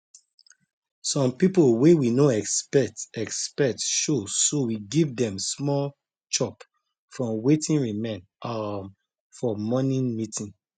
some people wey we no expect expect show so we give dem small chop from wetin remain um for morning meeting